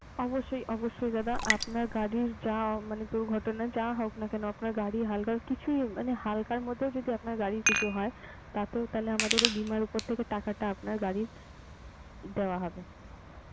অবশ্যই অবশ্যই দাদা আপনার গাড়ির যা মানে দুর্ঘটনা যা হোক না কেন আপনার গাড়ির হালকা কিছুই মানে হালকার মধ্যেও যদি আপনার গাড়ির কিছু হয় তাতেও তাহলে আমাদের ওই বীমার উপর থেকে টাকাটা আপনার গাড়ির দেওয়া হবে.